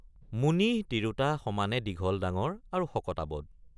মুনিহ তিৰোতা সমানে দীঘল ডাঙৰ আৰু শকতআৱত ।